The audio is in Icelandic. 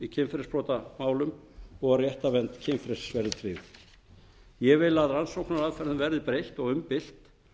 og að réttarvernd kynfrelsis verði tryggð ég vil að rannsóknaraðferðum verði breytt og umbylt